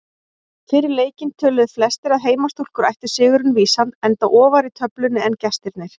Fyrir leikinn töluðu flestir að heimastúlkur ættu sigurinn vísan enda ofar í töflunni en gestirnir.